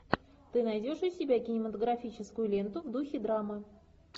ты найдешь у себя кинематографическую ленту в духе драмы